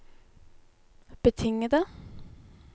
betingede